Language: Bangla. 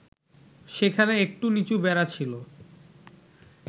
সেখানে একটু নিচু বেড়া ছিল